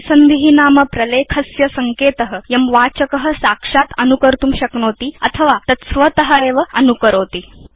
परिसन्धि नाम प्रलेखस्य सङ्केत यं वाचक साक्षात् अनुकर्तुं शक्नोति अथवा तत् स्वत एव अनुकरोति